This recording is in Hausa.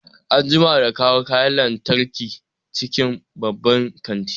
An jima da kawo kayan lantarki cikin banban kantin